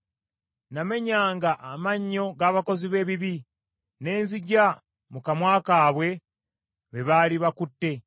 Namenyanga amannyo g’abakozi b’ebibi, ne nziggya mu kamwa kaabwe, be baali bakutte.